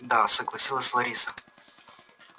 да согласилась лариса